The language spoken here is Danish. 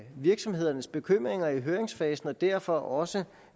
virksomhedernes bekymringer i høringsfasen og derfor også